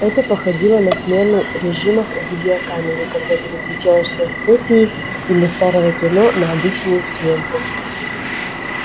это походило на смену режимов в видеокамере когда переключаешься с сепии или старого кино на обычную съёмку